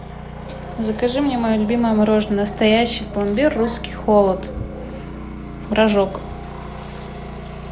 закажи мне мое любимое мороженое настоящий пломбир русский холод рожок